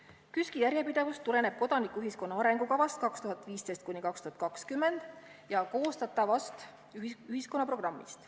" KÜSK-i järjepidevus tuleneb kodanikuühiskonna arengukavast 2015–2020 ja koostatavast ühiskonna programmist.